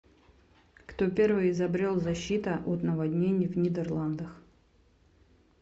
кто первый изобрел защита от наводнений в нидерландах